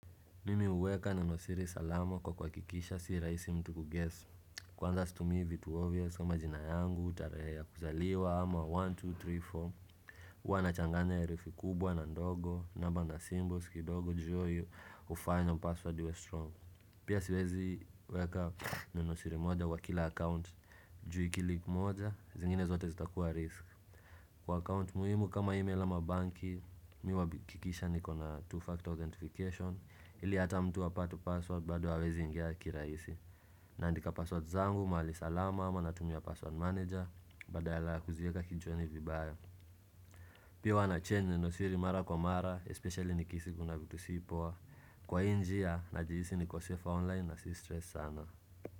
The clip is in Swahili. Mimi uweka na nosiri salama kwa kwa kuhakikisha si raisi mtu kuguess Kwanza stumii vitu obvious kama jina yangu tarehe ya kuzaliwa ama 1, 2, 3, 4 Uwa na changanya herufi kubwa na ndogo, namba na symbols, kidogo, ju iyo, hufanya password iwe strong Pia siwezi weka na nosiri moja wa kila account ju ikileek moja, zingine zote zita kuwa risk Kwa account muhimu kama email ama banki, mi huwa kikisha ni kona two-factor authentication ili hata mtu hata apate password bado hawawezi ingea kiraisi na andika password zangu mahali salama ama natumia password manager badayala kuzieka kichwani vibaya pia wana chenye ni nosiri mara kwa mara especially nikihisi kuna vitu sipoa kwa injia na jihisi niko safe online na si stress sana.